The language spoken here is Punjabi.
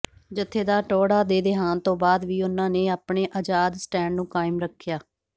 ਜਥੇਦਾਰ ਟੌਹੜਾ ਦੇ ਦੇਹਾਂਤ ਤੋਂ ਬਾਅਦ ਵੀ ਉਹਨਾਂ ਨੇ ਆਪਣੇ ਆਜ਼ਾਦ ਸਟੈਂਡ ਨੂੰ ਕਾਇਮ ਰੱਖਿਆ